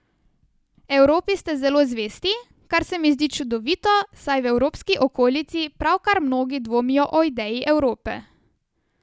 Evropi ste zelo zvesti, kar se mi zdi čudovito, saj v evropski okolici pravkar mnogi dvomijo o ideji Evrope.